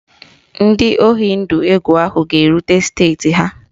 Ndị oyi ndụ egwu ahụ ga-erute steeti ha